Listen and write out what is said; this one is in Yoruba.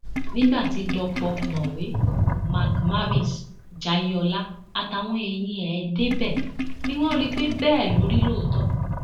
nígbà tí dọpọ mọwé mark marvis jayeola àtàwọn èèyàn ẹ débẹ ni wọn rí i pé bẹẹ ló rí lóòótọ